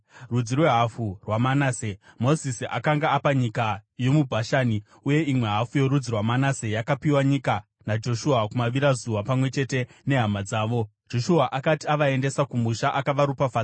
(Rudzi rwehafu rwaManase, Mozisi akanga apa nyika yomuBhashani, uye imwe hafu yorudzi rwaManase yakapiwa nyika naJoshua kumavirazuva pamwe chete nehama dzavo.) Joshua akati avaendesa kumusha, akavaropafadza,